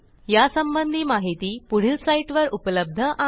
यासंबंधी माहिती पुढील साईटवर उपलब्ध आहे